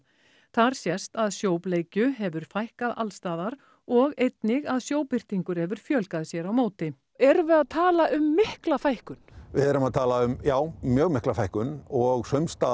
þar sést að sjóbleikju hefur fækkað alls staðar og einnig að sjóbirtingur hefur fjölgað sér á móti erum við að tala um mikla fækkun við erum að tala um já mjög mikla fækkun og